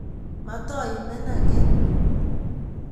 Matoimenan ' ge